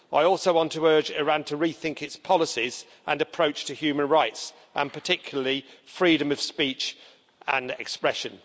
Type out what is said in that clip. I also want to urge Iran to rethink its policies and approach to human rights, and particularly freedom of speech and expression.